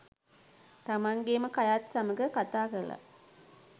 තමන්ගේම කයත් සමඟ කතා කළා.